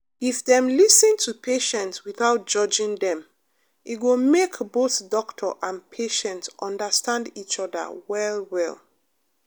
if dem lis ten to patient without judging dem e go make both doctor and patient understand each other well well.